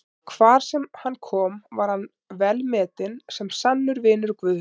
Hvar sem hann kom var hann velmetinn sem sannur vinur Guðs.